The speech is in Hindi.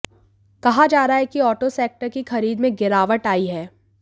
कहा जा रहा है कि ऑटो सेक्टर की खरीद में गिरावट आई है